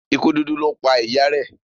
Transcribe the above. ikú dúdú lọ pá ìyá rẹ.